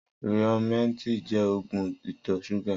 Riómètí jẹ́ ógùn itọ ṣúgà